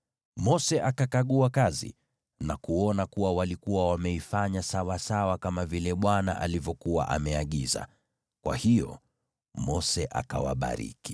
Mose akakagua kazi na kuona kuwa walikuwa wameifanya sawasawa kama vile Bwana alivyokuwa ameagiza. Kwa hiyo Mose akawabariki.